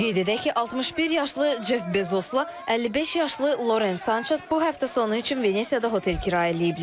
Qeyd edək ki, 61 yaşlı Ceff Bezosla 55 yaşlı Loren Sançez bu həftə sonu üçün Venesiyada otel kirayə eləyiblər.